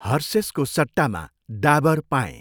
हर्सेसको सट्टामा डाबर पाएँ।